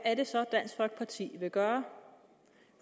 er det så dansk folkeparti vil gøre